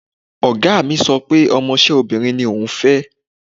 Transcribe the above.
Ọ̀gá mi sọ pé ọmọṣẹ́ obìnrin ni òun fẹ́.